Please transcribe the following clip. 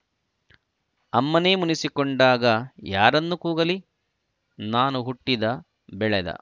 ಅಮ್ಮನೇ ಮುನಿಸಿಕೊಂಡಾಗ ಯಾರನ್ನು ಕೂಗಲಿ ನಾನು ಹುಟ್ಟಿದ ಬೆಳೆದ